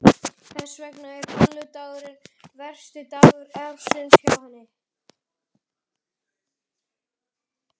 Þess vegna var bolludagurinn versti dagur ársins hjá henni.